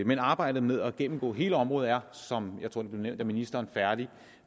men arbejdet med at gennemgå hele området er som jeg tror det blev nævnt af ministeren færdig